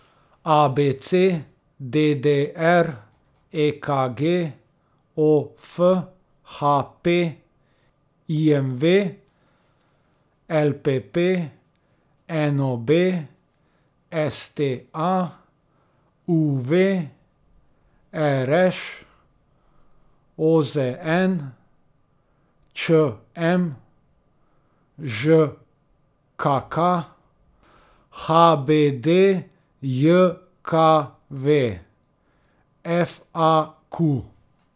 A B C; D D R; E K G; O F; H P; I M V; L P P; N O B; S T A; U V; R Š; O Z N; Č M; Ž K K; H B D J K V; F A Q.